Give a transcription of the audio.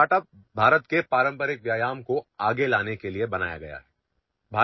आमचा startup भारतातील पारंपरिक व्यायाम प्रकारांना चालना देण्यासाठी सुरु करण्यात आला आहे